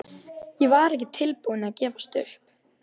En ég var ekki tilbúin að gefast upp.